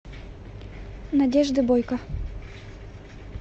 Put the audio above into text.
надежды бойко